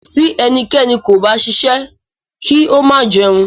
Ti ẹnikẹ́ni kò bá ṣiṣẹ́, ki o ma jẹun.